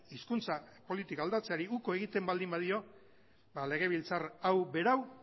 hizkuntza politika aldatzeari uko egiten baldin badio legebiltzar hau berau